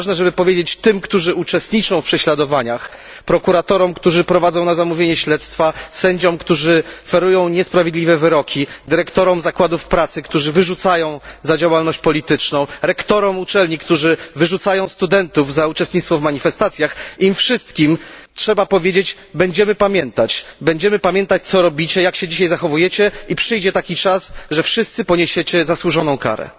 Jest ważne, żeby powiedzieć tym, którzy uczestniczą w prześladowaniach prokuratorom, którzy prowadzą śledztwa na zamówienie, sędziom, którzy ferują niesprawiedliwe wyroki, dyrektorom zakładów pracy, którzy wyrzucają za działalność polityczną, rektorom uczelni, którzy wyrzucają studentów za uczestnictwo w manifestacjach, im wszystkim trzeba powiedzieć będziemy pamiętać! Będziemy pamiętać, co robicie, jak się dzisiaj zachowujecie i przyjdzie taki czas, że wszyscy poniesiecie zasłużoną karę!